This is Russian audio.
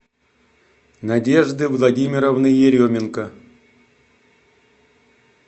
надежды владимировны еременко